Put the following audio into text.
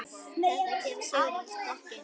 Þarna kemur Sigrún sterk inn.